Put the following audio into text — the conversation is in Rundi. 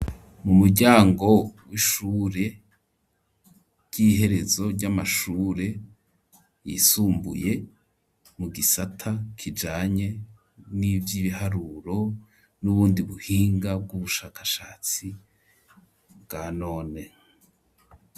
mu muryango w'ishure ry'iherezo ry'amashure yisumbuye mu gisata kijanye n'ivy'ibiharuro, n'ubundi buhinga bw'ubushakashatsi bwa none.